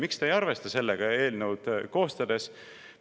Miks te ei arvesta sellega eelnõu koostades?